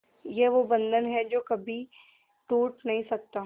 ये वो बंधन है जो कभी टूट नही सकता